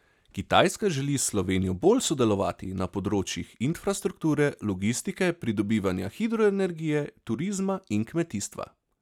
Kitajska želi s Slovenijo bolj sodelovati na področjih infrastrukture, logistike, pridobivanja hidroenergije, turizma in kmetijstva.